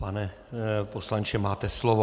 Pane poslanče, máte slovo.